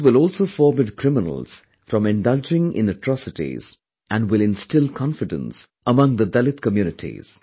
This will also forbid criminals from indulging in atrocities and will instill confidence among the dalit communities